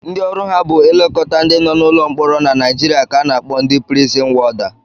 Ndị ọrụ ha bụ ilekọta ndị nọ n'ụlọ mkpọrọ na Naijiria ka a na-akpọ ndị prizin wọda